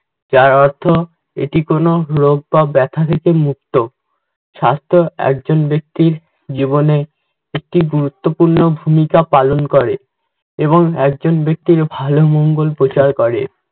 যার অর্থ এটি কোনও রোগ বা ব্যাথা থেকে মুক্ত। স্বাস্থ্য একজন ব্যক্তির জীবনে একটি গুরুত্বপূর্ণ ভূমিকা পালন করে, এবং একজন ব্যক্তির মঙ্গল প্রচার করে।